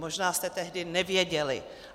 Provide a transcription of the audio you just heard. Možná jste tehdy nevěděli.